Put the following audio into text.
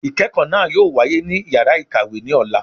Ikẹkọ naa yóò wàyé ní ìyára ikáwe ni ọlà